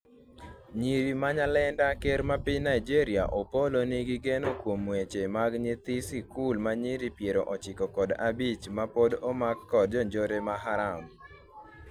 Nyiri ma nyalenda ker mar Piny Nigeria Opollo nigi geno kuom wech mag nyithi sikul manyiri piero ochiko kod abich ma pod omak kod jonjore ma Haram